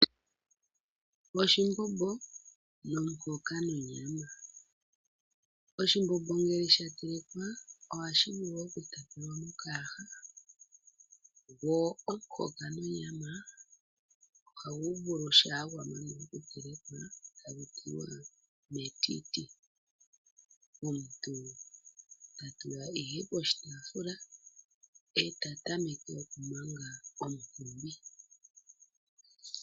Oshimbombo nomuhoka nonyama. Oshimbombo ngele sha telekwa ohashi vulu okutapelwa mokayaha, go omuhoka nonyama ohagu tulwa metiti shampa gwa manwa okutelekwa. Omuntu ta tula ihe poshitaafula, e ta tameke okumanga omunkumbi.